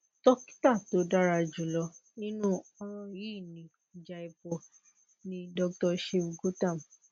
dokita tó dára jùlọ nínú ọràn yìí ní jaipur ni doctor shiv gautam